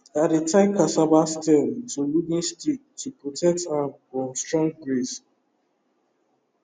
i dey tie cassava stem to wooden stick to protect am from strong breeze